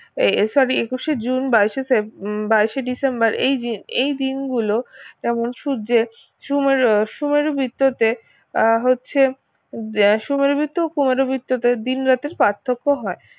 এ sorry একুশে June বাইশে সে বাইশে ডিসেম্বর এই যে এই দিন গুলো যেমন সূর্যের সুমেরু সুমেরু বৃত্ততে আহ হচ্ছে যা সুমেরু বৃত্ত ও কুমেরু বৃত্ততে দিন রাতের পার্থ্যক্য হয়